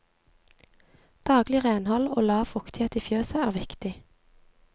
Daglig renhold og lav fuktighet i fjøset er viktig.